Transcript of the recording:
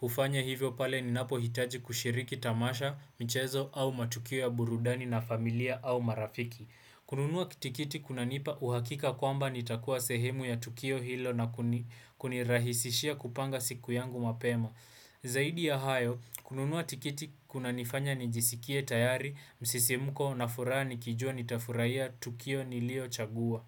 ufanya hivyo pale ninapo hitaji kushiriki tamasha, michezo au matukio ya burudani na familia au marafiki. Kununua tikiti kunanipa uhakika kwamba nitakuwa sehemu ya Tukio hilo na kunirahisishia kupanga siku yangu mapema. Zaidi ya hayo, kununua tikiti kunanifanya nijisikie tayari, msisimuko n na furaha nikijua nitafurahia Tukio nilio chagua.